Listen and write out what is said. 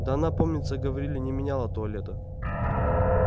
да она помнится говорили не меняла туалета